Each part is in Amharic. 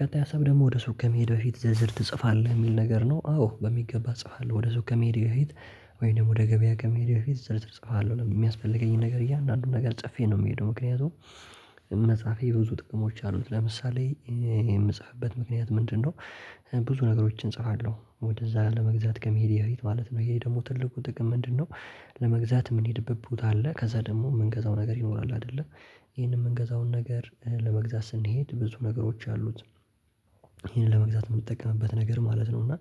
ቀጣይ ሀሳብ ደግሞ ወደ ሱቅ ከመሄድ በፊት ዝርዝር ትጽፋለህ የሚል ነገር ነው አዎ በሚገባ እጽፋለሁ ወደ ሱቅ ከመሄዴ በፊት። ወይንም ወደ ገበያ ከመሄዴ በፊት ዝርዝር እጽፏል የሚያስፈልገኝን ነገር እያንዳንዱን ነገር ጽፌ ነው የምሄደው ምክንያቱም መጽሐፌ ብዙ ጥቅሞች አሉት ለምሳሌ የምጽፍበት ምክንያት ምንድነው? ብዙ ነገሮችን እጽፋለሁ ወደዛ ለመግዛት ከመሄዴ በፊት ማለት ነው ይሄ ደግሞ ትልቁ ጥቅም ምንድነው? ለመግዛት ምንሄድበት ቦታ አለ ከዛ ደግሞ የምንገዛው ነገር ይኖራል አይደለ ይሄንን የምንገዛውን ነገር ለመግዛት ስንሄድ ብዙ ነገሮች አሉት። ይህንን ለመግዛት የምንጠቀምበት ነገር ማለት ነው እና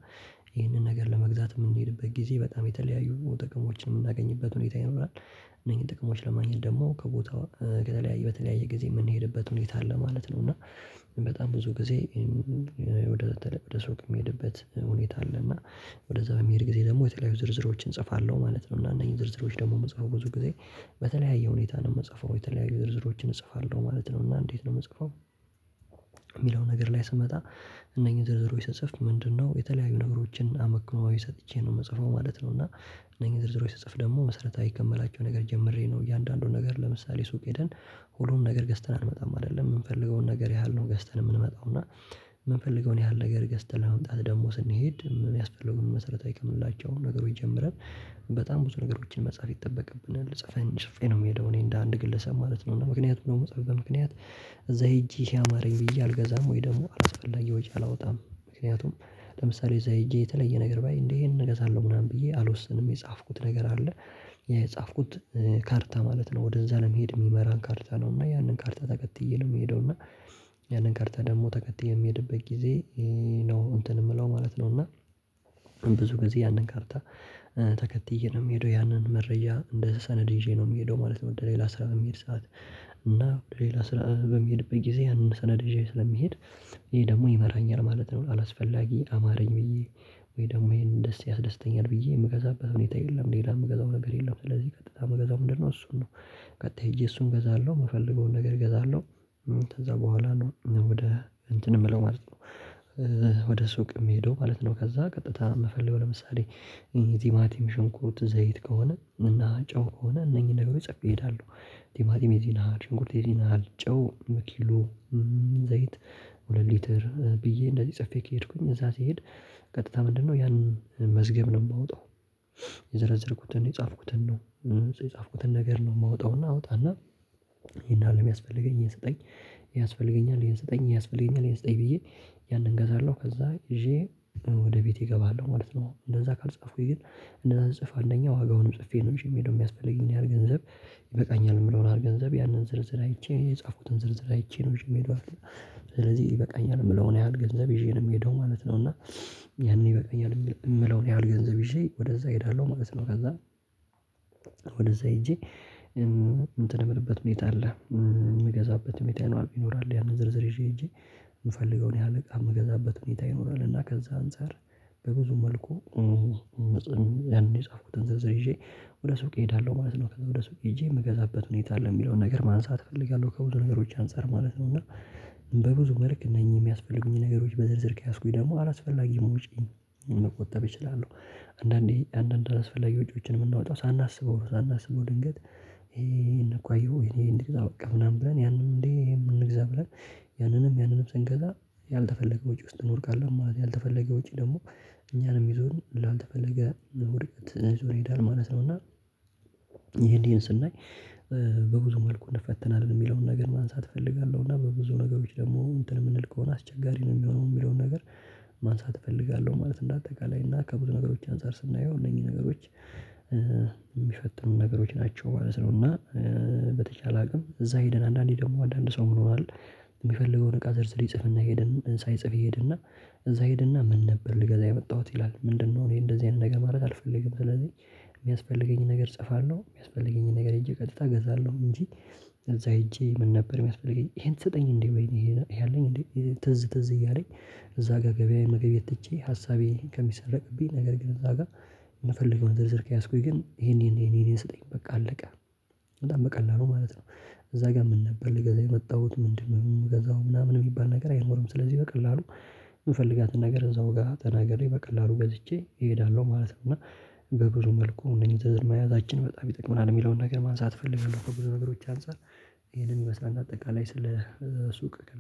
ይሄንን ነገር ለመግዛት የምንሄድበት ጊዜ በጣም የተለያዩ ጥቅሞችን የምናገኝበት ሁኔታ ይኖራል። እነኚህን ጥቅሞች ለማግኘት ደግሞ ከቦታው ከተለያየ በተለያየ ጊዜ የምንሄድበት ሁኔታ አለ ማለት ነው። እና በጣም ብዙ ጊዜ ወደ ሱቅ የሚሄድበት ሁኔታ አለ እና ወደዛ በሚሄድ ጊዜ ደግሞ የተለያዩ ዝርዝሮችን እጽፋለሁ ማለት ነው። እና አነኝህን ዝርዝሮች ደግሞ የምጽፈው ብዙ ጊዜ በተለያየ ሁኔታ ነው የምጽፈው የተለያዩ ዝርዝሮችን እጽፋለሁ ማለት ነው እና እንዴት ነው የምጽፈው? የሚለው ነገር ላይ ስመጣ እነኚህን ዝርዝሮች ስጽፍ ምንድነው የተለያዩ ነገሮችን አመክኖዊ ሰጥቼ ነው የምጽፈው ማለት ነው። እና እነኚህ ዝርዝሮች ስጽፍ ደግሞ መሰረታዊ ከመላቸው ነገር ጀምሬ ነው እያንዳንዱን ነገር ለምሳሌ ሱቅ ሄደን ሁሉንም ነገር ገዝተን አንመጣም አይደለም የምንፈልገውን ነገር ያህል ነው ገዝተን የምንመጣው እና የምንፈልገውን ያህል ነገር ገዝተን ለመምጣት ደግሞ ስንሄድ የሚያስፈልጉን መሰረታዊ ከምንላቸው ነገሮች ጀምረን በጣም ብዙ ነገሮችን መጻፍ ይጠበቅብናል። ጽፌ ነው የምሄደው እኔ እንደ አንድ ግለሰብ ማለት ነው እና ምክንያቱም ደግሞ ምፅፍበት ምክንያት እዛ ሄጄ ይሄ አማረኝ ብዬ አልገዛም ወይ ደግሞ አላስፈላጊ ወጪ አላወጣም። ምክንያቱም ለምሳሌ እዛ ሄጄ የተለየ ነገር ባይ እንዴ ይሄንን እንገዛለሁ ምናምን ብዬ አልወስንም የጻፍኩት ነገር አለ። የጻፍኩት ካርታ ማለት ነው ወደዛ ለመሄድ የሚመራን ካርታ ነው እና ያንን ካርታ ተከትዬ ነው የሚሄደው እና ያንን ካርታ ደግሞ ተከየ በምሄድበት ጊዜ ነው እንትን የምለው ማለት ነው። እና ብዙ ጊዜ ያንን ካርታ ተከትዬ ነው የምሄደው ያንን መረጃ እንደ ሰነድ ይዤ ነው የምሄደው ማለት ነው። እንደ ሌላ ስራ በሚሄድ ሰዓት እና ወደ ሌላ ስራ በሚሄድበት ጊዜ ያንን ሰነደ ይዤ ስለምሄድ ይህ ደግሞ ይመራኛል ማለት ነው። አላስፈላጊ አማረኝ ብዬ ወይ ደግሞ ይሄን ደስ ያስደስተኛል ብዬ የምገዛበት ሁኔታ የለም። ሌላ የምገዛው ነገር የለም ስለዚህ ቀጥታ የምገዛው ምንድነው እሱን ነው? ቀጥታ እሱን እገዛለሁ የምፈልገውን ነገር እገዛለሁ። ከዛ በኋላ ነው ወደ እንትን የምለው ማለት ነው ወደ ሱቅ የምሄደው ማለት ነው ከዛ ቀጥታ የምፈልገው ለምሳሌ ቲማቲም ሽንኩርት ዘይት ከሆነ እና ጨው ከሆነ እነኚህን ነገሮች ጸፌ እሄዳለሁ። ቲማቲም የዚህን ያህል ሽንኩርት የዚህን ያህል ጨው በኪሎ ዘይት ሁለት ሊትር ብዬ እንደዚህ ጽፌ ከሄድኩኝ እዛ ሲሄድ ቀጥታ ምንድነው ያንን መዝገብ ነው የማወጣው? የዘረዘርኩትን የጻፍኩትን ነው የጻፍኩትን ነገር ነው የማወጣውና አውጣና ይሄን የህል ነው የሚያስፈልገኝን ይሄን ስጠኝ ያስፈልገኛል ይሄን ስጠኝ ያስፈልገኛል ይሄን ስጠኝ ብዬ ያንን እገዛለሁ ከዛ ይዤ ወደ ቤቴ እገባለሁ ማለት ነው። እንደዛ ካልጻፍኩኝ ግን እንደዛ ስጽፍ አንደኛ ዋጋውንም ጽፌ ነው የምሄደው የሚያስፈልገኝን ያህል ገንዘብ ይበቃኛል የምለውን ያህል ገንዘብ ያንን ዝርዝር አይቼ የጻፍኩትን ዝርዝር አይቼ ነው ይዤ ስለዚህ ይበቃኛል የምለውን ያህል ገንዘብ ይዤ ነው የምሄደው ማለት ነው። እና ያንን ይበቃኛል የምለውን ያህል ገንዘብ ይዤ ወደዛ እሄዳለሁ ማለት ነው። ከዛ ሄጄ እንትን የምልበት ሁኔታ አለ የምገዛበት ሁኔታ ይኖራል ያንን ዝርዝር ይዤ ሄጄ የምፈልገውን ያህል እቃ የምገዛበት ሁኔታ ይኖራል እና ከዛ አንፃር በብዙ መልኩ ያንን የጻፍኩትን ዝርዝር ይዤ ወደ ሱቅ እሄዳለሁ ማለት ነው። ከዛ ወደ ሰው ሄጄ የምገዛበት ሁኔታ አለ የሚለውን ነገር ማንሳት እፈልጋለሁ ከብዙ ነገሮች አንፃር ማለት ነው። እና በብዙ መልክ እነኚህ የሚያስፈልጉኝ ነገሮች በዝርዝር ከያዝኩኝ ደግሞ አላስፈላጊም ውጪ መቆጠብ እችላለሁ። አንዳንዴ አንዳንድ አስፈላጊ ውጪዎችን የምናወጣው ሳናስበው ነው ሳናስበው ድንገት እኮ አየኸው እንግዛ በቃ ምናምን ብለን ያንንም እንግዛ ብለን ያንንም ያንንም ስንገዛ ያልተፈለገ ውጪ ውስጥ እንወድቃለን ማለት ያልተፈለገ ውጪ ደግሞ እኛንም ይዞ ላልተፈለገ ውድቀት ይዞ ይሄዳል ማለት ነው። እና ይሄን ይሄን ስናይ በብዙ መልኩ እንፈተናለን የሚለውን ነገር ማንሳት እፈልጋለሁ እና በብዙ ነገሮች ደግሞ እንትን ምንል ከሆነ አስቸጋሪ ነው የሚሆነው የሚለውን ነገር ማንሳት እፈልጋለሁ። ማለት እንደ አጠቃላይ እና ከብዙ ነገሮች አንፃር ስናየው እነኚህ ነገሮች የሚፈጠሩ ነገሮች ናቸው ማለት ነው። እና በተቻለ አቅም እዛ ሄደን አንዳንዴ ደግሞ አንዳንድ ሰው ምን ይሆናል? የሚፈልገውን እቃ ዝርዝር ይጽፍና ሄደን ሳይጽፍ ይሄድና እዛ ይሄድና ምን ነበር ልገዛ የመጣሁት ይላል? ምንድነው እኔ እንደዚህ አይነት ነገር ማድረግ አልፈልግም። ስለዚህ የሚያስፈልገኝን ነገር እጽፋለሁ የሚያስፈልገኝን ነገር ሄጄ ቀጥታ እገዛለሁ። እንጂ እዛ ሄጄ ምን ነበር የሚያስፈልገኝ ይሄን ትሰጠኝ እንዴ? ወይኔ ይሄ አለኝ እንዴ? ትዝ ትዝ እያለኝ እዛ ጋር ገበያዬን መገብየት ትቼ ሀሳቤን ከሚሰረቅብኝ ነገር ግን እዛ ጋር ዝርዝር ከያዝኩኝ ግን ይሄን ይሄን ይሄን ይሄን ስጠኝ በቃ አለቀ። በጣም በቀላሉ ማለት ነው እዛ ጋር ምን ነበር ለገዛ የመጣሁት ምንድነው የምገዛው ምናምን የሚባል ነገር አይኖርም። ስለዚህ በቀላሉ የምፈልጋትን ነገር እዛው ጋር ተናገሬ በቀላሉ ገዝቼ እሄዳለሁ ማለት ነው። እና በብዙ መልኩ እነዚህ ዘዝር መያዛችን በጣም ይጠቅመናል የሚለውን ነገር ማንሳት እፈልጋለሁ። ከብዙ ነገሮች አንፃር ይሄንን ይመስላል አጠቃላይ ስለ ሱቅ